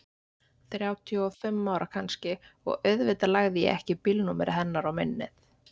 Þrjátíu og fimm ára kannski og auðvitað lagði ég ekki bílnúmerið hennar á minnið.